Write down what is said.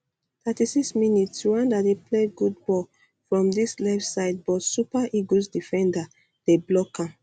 36mins rwanda dey play good um ball from dis left side but super eagles defenders dey block am